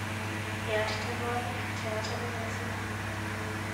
Yaat tyenwogik cheachame missing.